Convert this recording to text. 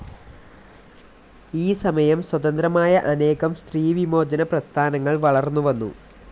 ഈ സമയം സ്വതന്ത്രമായ അനേകം സ്ത്രീ വിമോചന പ്രസ്ഥാനങ്ങൾ വളർന്നു വന്നു.